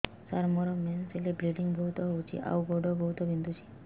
ସାର ମୋର ମେନ୍ସେସ ହେଲେ ବ୍ଲିଡ଼ିଙ୍ଗ ବହୁତ ହଉଚି ଆଉ ଗୋଡ ବହୁତ ବିନ୍ଧୁଚି